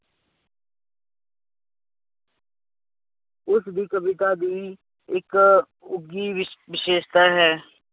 ਉਸਦੀ ਕਵਿਤਾ ਦੀ ਇੱਕ ਉੱਘੀ ਵਿਸ਼ ਵਿਸ਼ੇਸ਼ਤਾ ਹੈ